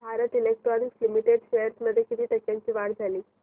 Bharat electronics limited shares मध्ये किती टक्क्यांची वाढ झाली